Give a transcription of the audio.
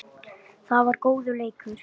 Það var góður leikur.